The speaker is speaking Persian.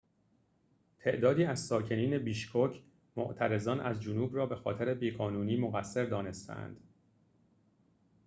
تعدادی از ساکنین بیشکک معترضان از جنوب را بخاطر بی‌قانونی مقصر دانسته‌اند